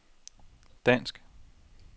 dansk